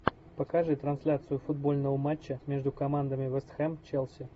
покажи трансляцию футбольного матча между командами вэст хэм челси